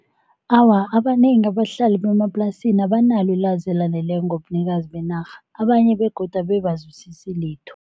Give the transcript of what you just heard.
Awa, abanengi abahlali bemaplasini abanalo ilwazi elaneleko ngobunikazi benarha, abanye begodu abe abazwisisi litho.